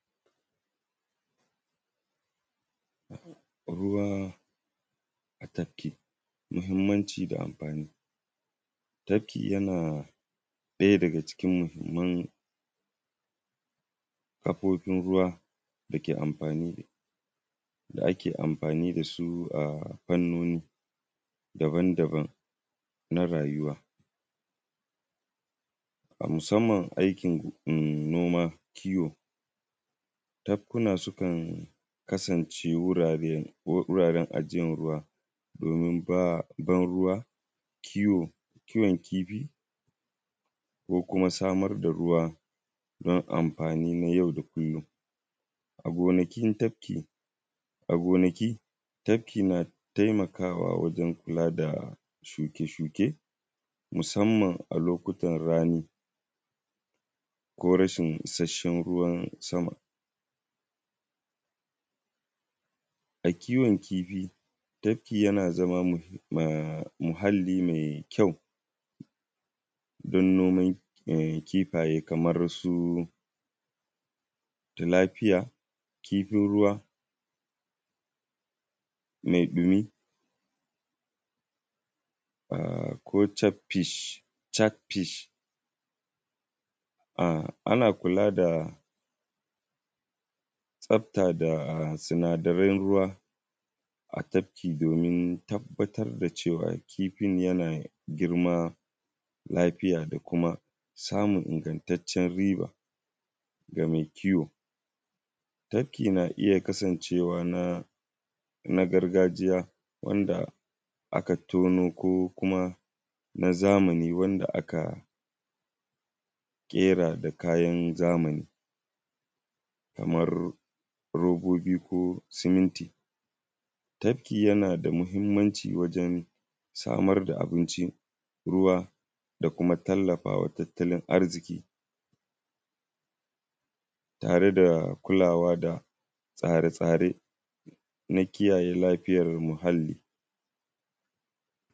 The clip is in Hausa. Ruwa a tafki muhammanci da amfani, tafki yana ɗaya daga ciki muhimman kafofin ruwa da ake amfani da su a fannoni daban-daban na rayuwa. Musamman aikin noma kiwo, tafkuna sukan kasance aiki ruwa domin ban ruwa kiwo kiwon kifi ko kuma samar da ruwa don a ba amfani na yau da kullum. A gonaki tafki na taimakawa wajen kula da shuke-shuke musamman a lokutan rani ko rashin isasshen ruwan sama. A kiwon kifi tafki yana zama muhalli mai ƙyau don noman kifaye kamar su talafia kifin ruwa, mai bimi ko chap fish. Ana kula da tsafta da sunadaran ruwa a tafki domin tabbatar da cewa kifin yana girma lafiya da kuma samun ingantaccen ruba ga mai kiwo. Tafki na iya kasancewa na gargajiya wanda aka tono ko na zamani wanda aka ƙera da kayan zamani kamar robobi ko simenti don samar da abinci ruwa da kuma tallafawa tattalin arziki tare da kulawa da tsare-tsaren na kulawa da muhalli.